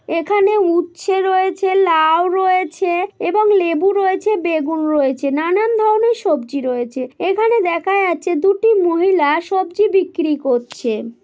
এখানে উচ্ছে রয়েছে লাউ রয়েছে এবং লেবু রয়েছে বেগুন রয়েছে নানান ধরণের সবজি রয়েছে এখানে দেখা যাচ্ছে দুটি মহিলা সবজি বিক্রি করছে।